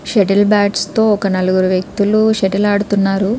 Shuttle bats తో ఒక నలగారు వ్యక్తిలు షట్టల్ ఆడుతున్నారు.